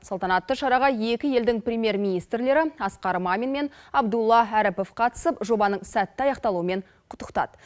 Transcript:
салтанатты шараға екі елдің премьер министрлері асқар мамин мен абдулла әріпов қатысып жобаның сәтті аяқталуымен құттықтады